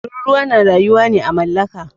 Tururuwa na rayuwa ne à mallaka.